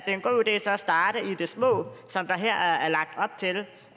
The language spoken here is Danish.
starte i det små som der her er lagt op til